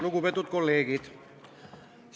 Lugupeetud kolleegid!